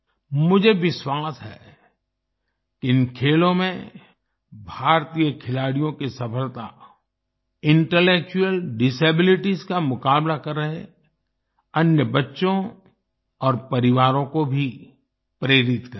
मुझे विश्वास है कि इन खेलों में भारतीय खिलाड़ियों की सफलता इंटेलेक्चुअल डिसेबिलिटीज का मुकाबला कर रहे अन्य बच्चों और परिवारों को भी प्रेरित करेगी